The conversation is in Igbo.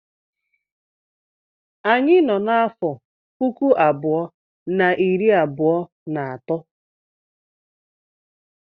Anyị nọ n'afọ uku abụọ and iri abụọ na atọ.